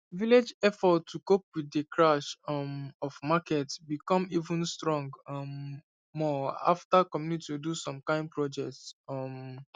village effort to cope with de crash um of market be come even strong um more after community do some kind projects um